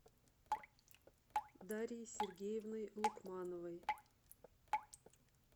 дарьей сергеевной лукмановой